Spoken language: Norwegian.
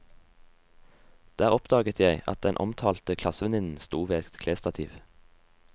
Der oppdaget jeg at den omtalte klassevenninnen stod ved et klesstativ.